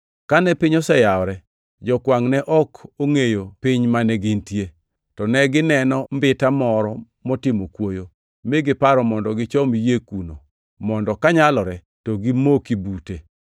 Kane piny oseyawore, jokwangʼ ne ok ongʼeyo piny mane gintie, to negineno mbita moro motimo kwoyo; mi giparo mondo gichom yie kuno mondo kanyalore to gimoki bute.